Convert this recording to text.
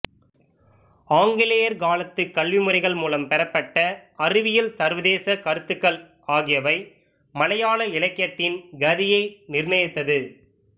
ஆங்கிலேயர் காலத்துக் கல்விமுறைகள் மூலம் பெறப்பட்ட அறிவியல் சர்வதேசக் கருத்துகள் ஆகியவை மலையாள இலக்கியத்தின் கதியை நிர்ணயித்தது